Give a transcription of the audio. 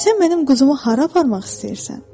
Sən mənim quzumu hara aparmaq istəyirsən?